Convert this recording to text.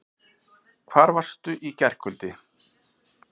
Hvar varstu í gærkvöldi?